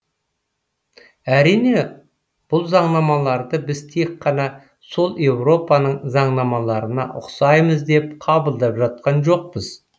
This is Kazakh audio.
әрине бұл заңнамаларды біз тек қана сол еуропаның заңнамаларына ұқсаймыз деп қабылдап жатқан жоқпыз